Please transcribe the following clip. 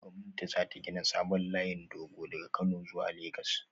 Gwamnati za ta gina sabon layin dogo daga Kano zuwa Legas